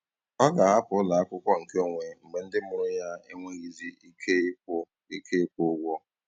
Ọ ga-ahapụ ụlọ akwụkwọ nkeonwe mgbe ndị mụrụ ya enweghịzi ike ịkwụ ike ịkwụ ụgwọ.